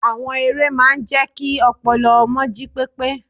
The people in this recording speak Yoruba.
Àwọn eré máa ń jẹ́ kí ọpọlọ ọmọ jí pépé.